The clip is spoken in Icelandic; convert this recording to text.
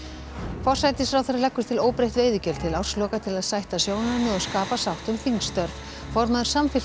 forsætisráðherra leggur til óbreytt veiðigjöld til ársloka til að sætta sjónarmið og skapa sátt um þingstörf formaður Samfylkingar